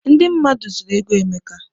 Ndị mmadụ zuru ego Emeka.